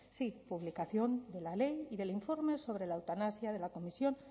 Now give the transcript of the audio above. sí publicación de la ley y del informe sobre la eutanasia de la comisión